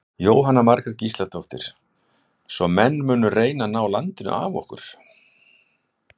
Jóhanna Margrét Gísladóttir: Svo menn munu reyna að ná landi af okkur?